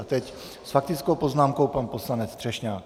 A teď s faktickou poznámkou pan poslanec Třešňák.